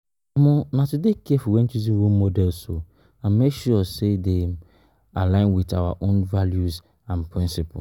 Na to dey careful when choosing role models and make sure dem align with our own values and principles.